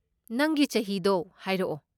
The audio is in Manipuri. ꯅꯪꯒꯤ ꯆꯍꯤꯗꯣ ꯍꯥꯏꯔꯛꯑꯣ꯫